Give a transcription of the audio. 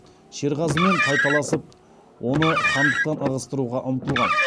шерғазымен тайталасып оны хандықтан ығыстыруға ұмтылған